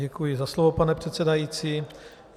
Děkuji za slovo, pane předsedající.